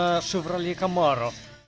а шевроле камаро